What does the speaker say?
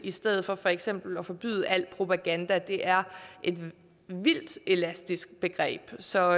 i stedet for for eksempel at forbyde alt propaganda det er et vildt elastisk begreb så